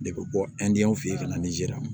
De bɛ bɔ fɛ yen ka na nizeri